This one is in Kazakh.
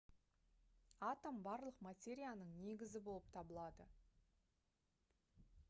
атом барлық материяның негізі болып табылады